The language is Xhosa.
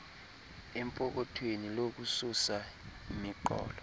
empokothweni lokususa imiqobo